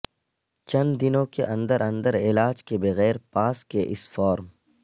چند دنوں کے اندر اندر علاج کے بغیر پاس کے اس فارم